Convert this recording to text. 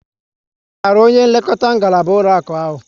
Ị maara onye nlekọta ngaraba ụlọakụ ahụ?